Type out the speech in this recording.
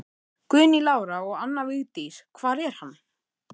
Guðný Lára og Anna Vigdís: Hvar er hann?